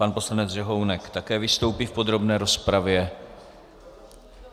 Pan poslanec Řehounek také vystoupí v podrobné rozpravě.